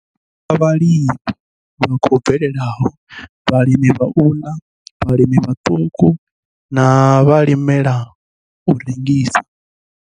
I thusa vhalimi vha khou bvelelaho, vhalimela u ḽa, vhalimi vhaṱuku na vhalimela u rengisa.